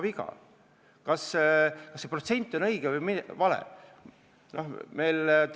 Kas pakutud protsent on õige või vale?